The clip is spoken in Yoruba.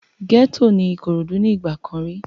Gẹ́ẹ́tò ní Ìkòròdú ní ìgbà kan rí